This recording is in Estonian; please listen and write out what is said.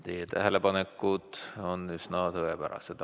Teie tähelepanekud on üsna tõepärased.